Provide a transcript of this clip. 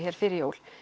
fyrir jól